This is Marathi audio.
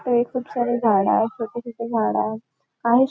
इथे खूप सारे झाडय छोटे छोटे झाडंय --